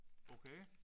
Okay